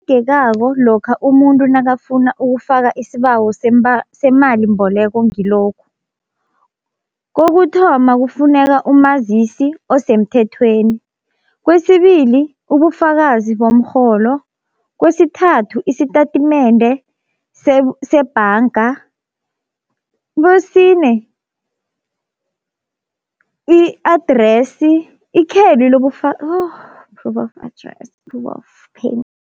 lokha umuntu nakafuna ukufaka isibawo semalimboleko ngilokhu. Kokuthoma kufuneka umazisi osemthethweni, kwesibili ubufakazi bomrholo, kwesithathu isitatimende sebhanga, kwesine i-address ikheli proof of address, proof of